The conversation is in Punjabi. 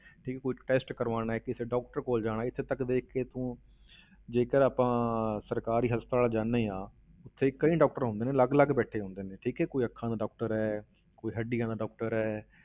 ਠੀਕ ਹੈ ਕੋਈ test ਕਰਵਾਉਣਾ ਹੈ, ਕਿਸੇ doctor ਕੋਲ ਜਾਣਾ ਹੈ, ਇੱਥੇ ਤੱਕ ਦੇਖ ਕੇ ਤੂੰ ਜੇਕਰ ਆਪਾਂ ਸਰਕਾਰੀ ਹਸਪਤਾਲ ਜਾਂਦੇ ਹਾਂ, ਉੱਥੇ ਕਈ doctor ਹੁੰਦੇ ਨੇ, ਅਲੱਗ ਅਲੱਗ ਬੈਠੇ ਹੁੰਦੇ ਨੇ, ਠੀਕ ਹੈ ਕੋਈ ਅੱਖਾਂ ਦਾ doctor ਹੈ, ਕੋਈ ਹੱਡੀਆਂ ਦਾ doctor ਹੈ